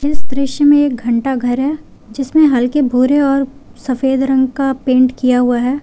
इस दृश्य में एक घंटा घर है जिसमें हल्के भूरे और सफेद रंग का पेंट किया हुआ है।